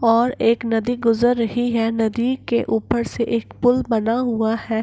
और एक नदी गुजर रही है नदी के ऊपर से एक पुल बना हुआ है।